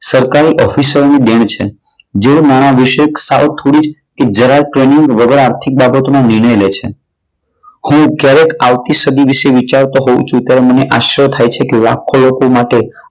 સરકારી ઓફિસરોની દેન છે. જેઓ નાણા વિશે સાવ થોડી જ કે જરાય ટ્રેનિંગ વગર આર્થિક બાબતોની નિર્ણય લે છે. હું જ્યારે આવતી સદી વિશે વિચારું ત્યારે મને આશ્ચર્ય થાય છે કે લાખો લોકો માટે